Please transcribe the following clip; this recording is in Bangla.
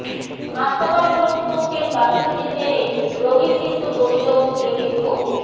হাসপাতাল কর্তৃপক্ষের গাফিলতির জেরে রোগী মৃত্যুর অভিযোগ তুলে বিক্ষোভ